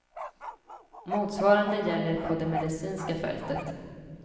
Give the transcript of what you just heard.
Motsvarande gäller på det medicinska fältet.